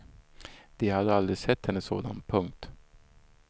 De hade aldrig sett henne sådan. punkt